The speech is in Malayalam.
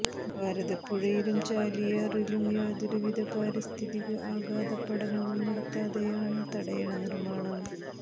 ഭാരതപ്പുഴയിലും ചാലിയാറിലും യാതൊരുവിധ പാരിസ്ഥിതിക ആഘാത പഠനവും നടത്താതെയാണ് തടയണ നിര്മ്മാണം